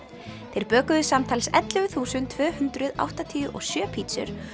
þeir bökuðu samtals ellefu þúsund tvö hundruð áttatíu og sjö pítsur